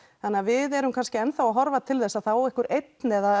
þannig að við erum kannski enn að horfa til þess að það á einhver einn eða